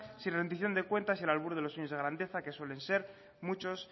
sin rendición de cuentas y al albur de los sueños de grandeza que suelen ser muchos